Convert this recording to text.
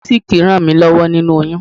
Munisik ràn mí lọ́wọ́ nínu oyún.